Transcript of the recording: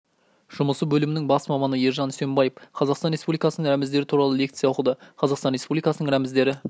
жұмысы бөлімінің бас маманы ержан үсенбаев қазақстан республикасының рәміздері туралы лекция оқыды қазақстан республикасының рәміздері